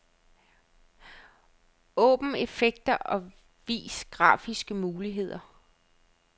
Åbn effekter og vis grafiske muligheder.